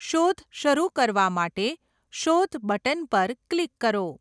શોધ શરૂ કરવા માટે 'શોધ' બટન પર ક્લિક કરો.